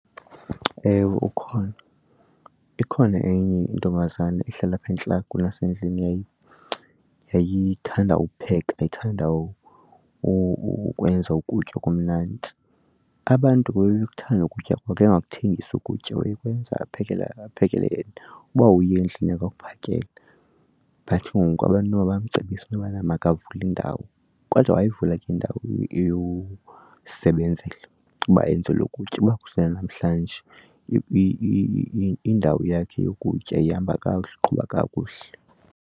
Ewe, ukhona ikhona enye intombazana ihlala apha entla kwasendlini yayithandwa ukupheka wayethanda ukwenza ukutya okumnandi. Abantu babekuthanda ukutya kwake, engakuthengisi ukutya wayekwenza aphekele abaphekele uba uye endlini yakhe akuphakele but ngoku abantu noba bamcebise intobana makavule indawo. Kodwa wayivula ke indawo yokusebenzela uba enzelwe ukutya uba kusena namhlanje indawo yakhe yokutya ihamba kakuhle uqhuba kakuhle.